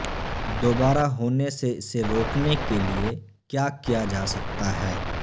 دوبارہ ہونے سے اسے روکنے کے لئے کیا کیا جا سکتا ہے